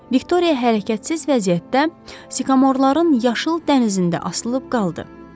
Viktoriya hərəkətsiz vəziyyətdə sikamorların yaşıl dənizində asılıb qaldı.